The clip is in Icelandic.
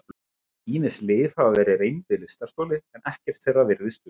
Ýmis lyf hafa verið reynd við lystarstoli en ekkert þeirra virðist duga.